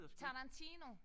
Tarantino